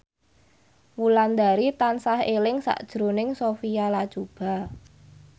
Wulandari tansah eling sakjroning Sophia Latjuba